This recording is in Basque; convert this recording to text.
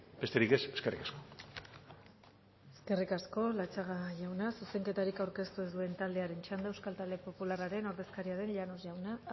besterik ez eskerrik asko eskerrik asko latxaga jauna zuzenketarik aurkeztu ez duen taldearen txanda euskal talde popularraren ordezkaria den